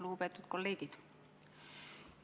Lugupeetud kolleegid!